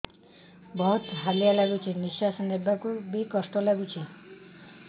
ବହୁତ୍ ହାଲିଆ ଲାଗୁଚି ନିଃଶ୍ବାସ ନେବାକୁ ଵି କଷ୍ଟ ଲାଗୁଚି